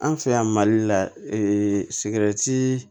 An fɛ yan mali la sigɛrɛti